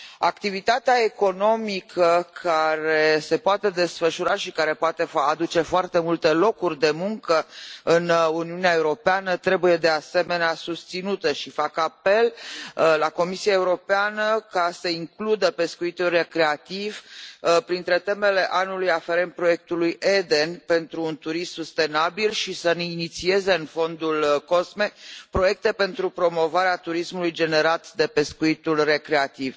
Activitatea economică care se poate desfășura și care poate aduce foarte multe locuri de muncă în Uniunea Europeană trebuie, de asemenea, susținută și fac apel la Comisia Europeană să includă pescuitul recreativ printre temele anului aferente proiectului EDEN pentru un turism sustenabil și să ne inițieze în fondul COSME proiecte pentru promovarea turismului generat de pescuitul recreativ.